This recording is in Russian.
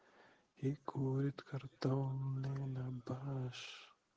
и говорит картонные на баш